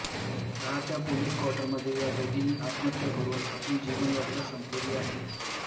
राहत्या पोलीस कॉर्टरमध्ये या दोघींनी आत्महत्या करुन आपली जीवनयात्रा संपवली आहे